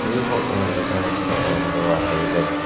ಈ ಪೋಟೋ ನಲ್ಲಿ ಕಾಣುತ್ತಿರುವ ಒಂದು ಆಟೋ ಇದೆ.